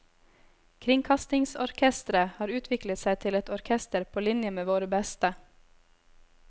Kringkastingsorkestret har utviklet seg til et orkester på linje med våre beste.